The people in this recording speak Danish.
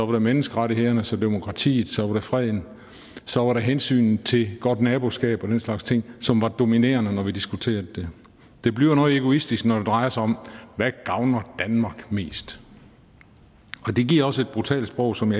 var det menneskerettighederne så demokratiet så var det freden så var det hensynet til godt naboskab og den slags ting som var det dominerende når vi diskuterede det det bliver noget egoistisk når det drejer sig om hvad der gavner danmark mest det giver også et brutalt sprog som